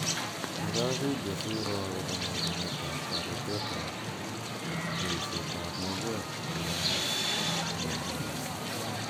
Iro video si �iro akopa nyorunetap taretet ap eiseet ap maiyek che chang' �anan ko missing'.